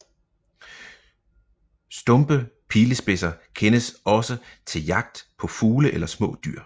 Stumpe pilespidser kendes også til jagt på fugle eller små dyr